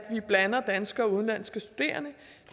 vi blander danske og udenlandske studerende